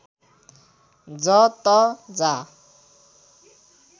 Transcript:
ज त जा